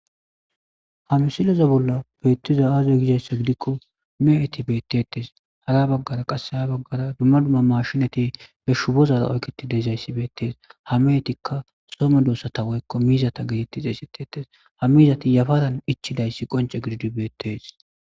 hamsiloza bolla beettiza aaze gizayssa gidikko me7eti bettetes hara baggara qasse ya baggara dumma dumma mashinati be shubozara oyketi deezayssi beettees hameetikka some doossata woykko miizata getetti xeesetetes ha mizati yafadan ichidayssi qonce gididi beettees